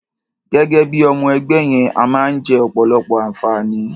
Gẹ́gẹ́ bí i ọmọ-ẹgbẹ́ yẹn, a máa ń jẹ ọ̀pọ̀lọpọ̀ àǹfààní.